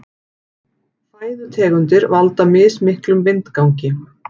Fæðutegundir valda mismiklum vindgangi.